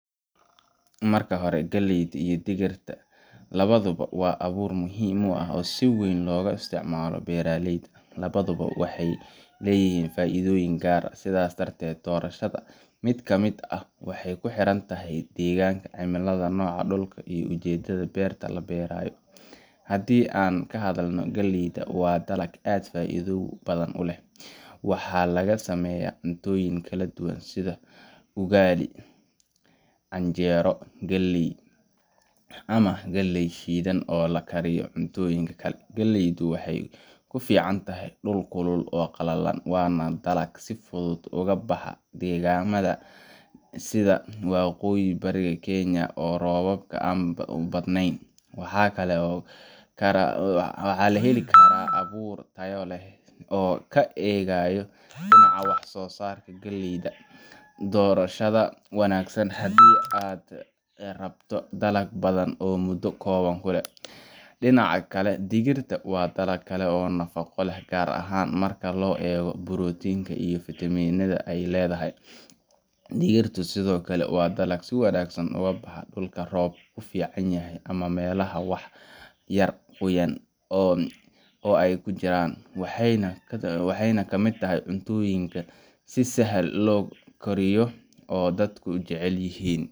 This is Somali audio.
Marka hore, galleyda iyo digirta labaduba waa abuurro muhiim ah oo si weyn looga isticmaalo beeraleyda. Labaduba waxay leeyihiin faa’iidooyin gaar ah, sidaas darteed doorashada mid ka mid ah waxay ku xiran tahay deegaanka, cimilada, nooca dhulka, iyo ujeedada beerta la beerayo. Haddii aan ka hadalno galleyda, waa dalag aad u faa’iido badan. Waxaa laga sameeyaa cuntooyin kala duwan sida ugali , canjeero galley, ama galley shiidan oo la isku kariyo cuntooyin kale. Galleydu waxay ku fiican tahay dhul kulul oo qallalan, waana dalag si fudud uga baxa deegaannada sida waqooyiga iyo bariga Kenya oo roobka aan badaneyn. Waxaa la heli karaa abuur tayo sare leh oo ka adkaysan kara cudurro, dhibaatooyin biyo la'aan ah, isla markaana bixiya dalag miro badan. Marka aan eegayo dhinaca wax-soo-saarka, galleydu waa doorasho wanaagsan haddii aad rabto dalag badan muddo kooban gudaheed. Dhinaca kale, digirta waa dalag kale oo nafaqo leh, gaar ahaan marka loo eego borotiinka iyo fiitamiinada ay leedahay. Digirtu sidoo kale waa dalag si wanaagsan uga baxa dhulka roobku fiican yahay ama meelaha wax yar qoyaan ah ku jira, waxayna ka mid tahay cuntooyinka si sahal ah loo kariyo oo dadku jecel yihiin. Aniga ahaan, haddii aan joogo meel kuleyl leh oo aan roob badan helin sida waqooyiga ama bariga Kenya (tusaale ahaan Garissa ama Mandera), waxaan dooran lahaa abuurka galleyda, sababtoo ah waa mid ku habboon cimiladaas oo keena miro badan xilliga abaarta. Laakiin haddii aan joogo meel roobka fiican yahay, waxaan jeclaan lahaa digir sababtoo ah waa nafaqo leh, deg deg u bislaada, dadkuna aad bay u jecel yihiin cuntooyinka laga sameeyo.